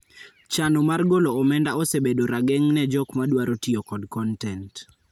Chano mar golo omenda osebedo rageng' ne kjok ma dwaro tiyo kod kontent.